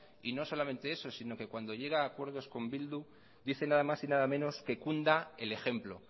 y no solamente eso sino que cuando llega a acuerdos con bildu dice nada más y nada menos que cunda el ejemplo